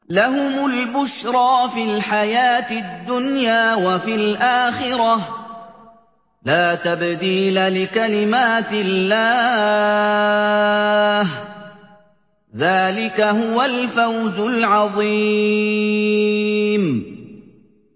لَهُمُ الْبُشْرَىٰ فِي الْحَيَاةِ الدُّنْيَا وَفِي الْآخِرَةِ ۚ لَا تَبْدِيلَ لِكَلِمَاتِ اللَّهِ ۚ ذَٰلِكَ هُوَ الْفَوْزُ الْعَظِيمُ